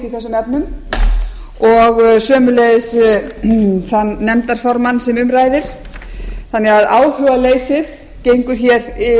mál mitt í þessum efnum og sömuleiðis þann nefndarformann sem um ræðir þannig að áhugaleysið gengur hér